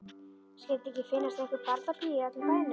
Skyldi ekki finnast einhver barnapía í öllum bænum.